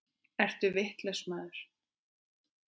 Ertu vitlaus maður?